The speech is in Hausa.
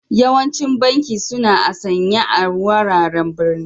Yawancin banki suna a'sanye a wuraren birni.